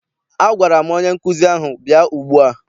Agwara m onye nkụzi ahụ, bịa ugbua!